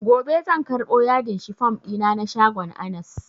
Gobe zan karɓo yadin shifom ɗina na shagon anas